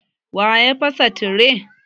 Waya fasa tire?